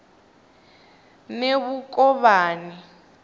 nemukovhani